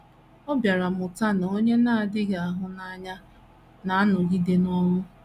Ọ bịara mụta na “ onye na - adịghị ahụ n’anya na - anọgide n’ọnwụ.